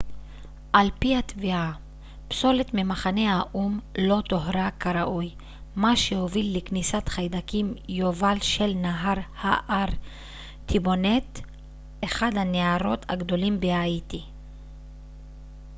על פי התביעה פסולת ממחנה האו ם לא טוהרה כראוי מה שהוביל לכניסת חיידקים יובל של נהר הארטיבוניט אחד הנהרות הגדולים בהאיטי